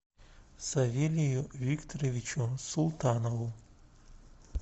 савелию викторовичу султанову